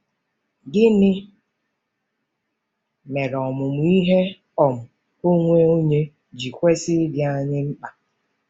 Gịnị mere ọmụmụ ihe um onwe onye ji kwesị ịdị anyị mkpa?